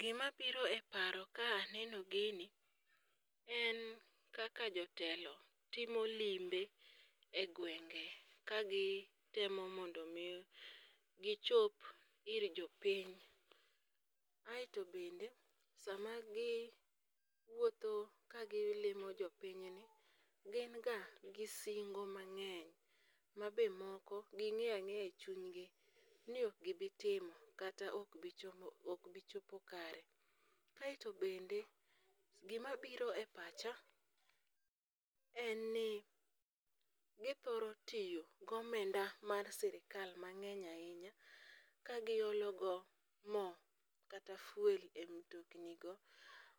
Gimabiro e paro ka aneno gini en kaka jotelo timo limbe e gwenge ka gi temo mondo omi gichop ir jopiny ,aeto bende sama giwuotho ka gilimo jopinyni, gin ga gi singo mang'eny ma be moko ging'eyo ang'eya e chunygi ni ok gibitimo kata ok bichopo kare. Kaeto bende gimabiro e pacha en ni githoro tiyo gomenda mar sirikal mang'eny ahinya ka gilogo mo kata fuel e mtoknigo,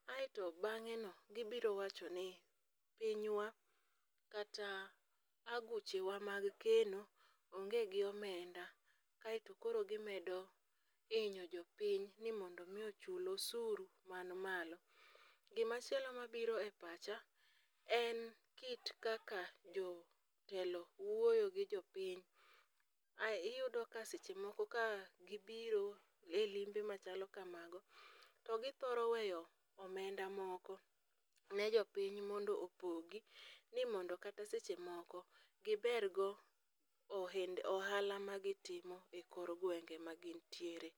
kaeto bang'e gibiro wacho ni pinywa kata aguchewa mag keno onge gi omenda, kaeto koro gimedo hinyo jopiny ni mondo omi ochul osuru man malo. Gimachielo mabiro e pacha en kit kaka jotelo wuoyo gi jopiny, iyudo ka seche moko gibiro e limbe machalo kamano, to githoro weyo omenda moko ne jponiy mondo opogi, ni mondo kata seche moko gibergo ohala magitimo e kor gwenge ma gintiere.